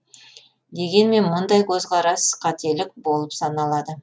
дегенмен мұндай көзқарастар қателік болып саналады